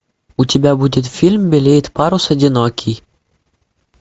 у тебя будет фильм белеет парус одинокий